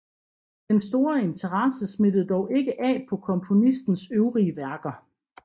Den store interesse smittede dog ikke af på komponistens øvrige værker